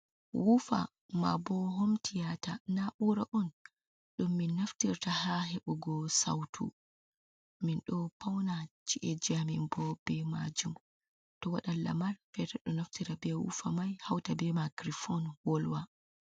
Wuufa ma bo hom tiyata, na ura on ɗum min naftirta ha heɓugo sautu, men ɗo pauna ci’eji amin bo be majum, to waɗan lamal fere ɗo naftita be wufa mai hauta be makiri fon wolwa.